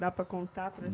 Dá para contar para